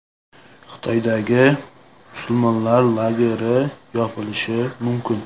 Xitoydagi musulmonlar lageri yopilishi mumkin.